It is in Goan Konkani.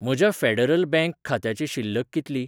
म्हज्या फेडरल बँक खात्याची शिल्लक कितली?